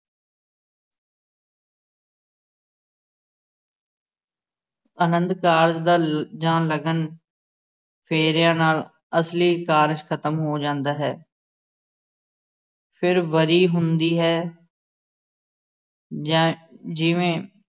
ਅਨੰਦਕਾਰਜ ਦਾ ਜਾਂ ਲਗਨ ਫੇਰਿਆ ਨਾਲ ਅਸਲੀ ਕਾਰਜ ਖਤਮ ਹੋ ਜਾਂਦਾ ਹੈ ਫਿਰ ਵਰੀ ਹੁੰਦੀ ਹੈ ਜਾਂ ਜਿਵੇ